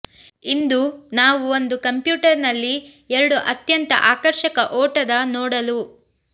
ಇಂದು ನಾವು ಒಂದು ಕಂಪ್ಯೂಟರ್ನಲ್ಲಿ ಎರಡು ಅತ್ಯಂತ ಆಕರ್ಷಕ ಓಟದ ನೋಡಲು